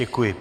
Děkuji.